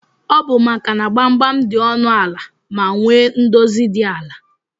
Ọbụ maka na gbamgbam di ọnụ ala ma nwee ndozi di ala.